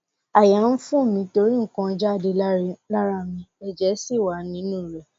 àyà ń fò mí torí nǹkan jáde lára mi ẹjẹ sì wà nínú rẹ